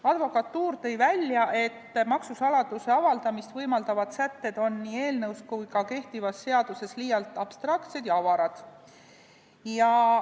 Advokatuur leidis, et maksusaladuse avaldamist võimaldavad sätted on nii eelnõus kui ka kehtivas seaduses liialt abstraktsed ja avarad.